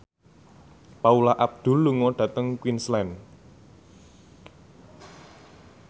Paula Abdul lunga dhateng Queensland